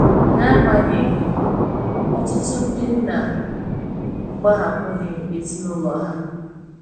na agbanyeghi ,ọtụtu ndi nna agbahapughi ezinulọ ha.